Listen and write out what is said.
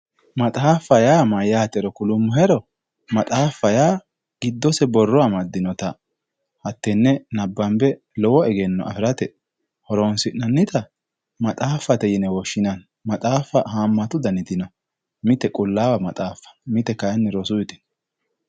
Maxaaffa yaa mayyaatero kulummohero, maxaaffa yaa giddose borro maddinota hattenne nabbanbe lowo egenno afirate horonsi'annita maxaaffte yine woshshinanni. Maxaaffa haammata daniti no mite qulaawa maxaaffa, mite kaayiinni rosuyiite.